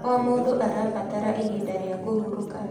O mũndũ arabatara ihinda rĩa kũhurũka.